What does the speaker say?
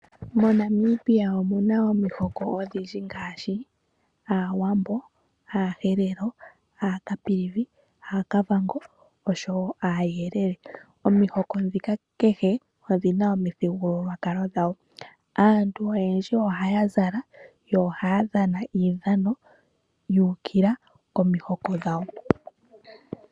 MoNamibia omuna omihoko odhindji ngaashi aaWambo, aaHerero, aaCaprivi, aaKavango oshowoo aayelele. Omihoko ndhika kehe odhina omuthigululwakalo dhawo. Aantu oyendji ohaya zala, yo ohaya dhana uudhano wuukila komihoko dhawo.